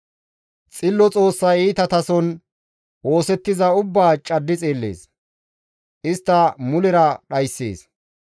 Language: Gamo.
Xillo Xoossay iitatason oosettiza ubbaa caddi xeellees; istta mulera dhayssees.